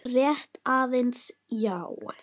Rétt aðeins, já.